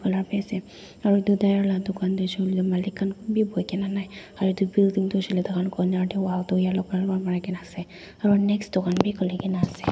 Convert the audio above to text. lar biase aro edu tyre la dukan tu hoishey koilae Malik khan kunbi boikaena nai aru edu building tu hoishey koilae takan koner tae wall tu yellow colour pra marikaena ase aro next dukan bi khulikaena ase.